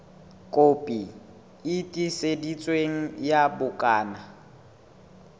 kopi e tiiseditsweng ya bukana